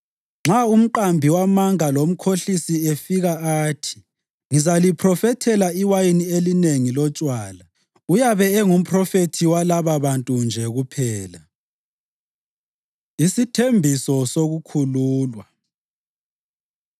Nxa umqambi wamanga lomkhohlisi efika athi, ‘Ngizaliphrofethela iwayini elinengi lotshwala,’ uyabe engumphrofethi walababantu nje kuphela!” Isithembiso Sokukhululwa